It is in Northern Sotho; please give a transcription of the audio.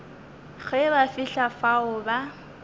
ge ba fihla fao ba